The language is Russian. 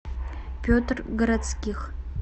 петр городских